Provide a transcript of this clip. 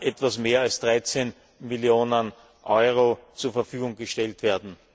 etwas mehr als 13 Millionen Euro zur Verfügung gestellt werden.